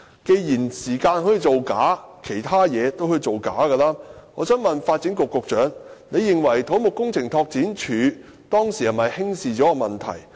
既然時間可以造假，其他東西也可以造假，我想問發展局局長，他認為土木工程拓展署當時有否輕視問題？